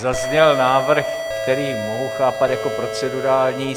Zazněl návrh, který mohu chápat jako procedurální.